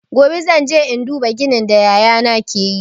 Gobe zan je in duba ginin da yaya na ke yi.